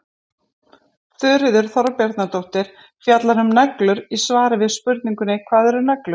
þuríður þorbjarnardóttir fjallar um neglur í svari við spurningunni hvað eru neglur